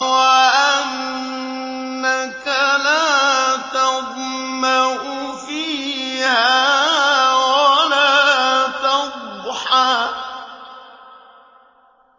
وَأَنَّكَ لَا تَظْمَأُ فِيهَا وَلَا تَضْحَىٰ